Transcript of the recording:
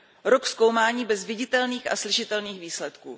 Rok zkoumání bez viditelných a slyšitelných výsledků!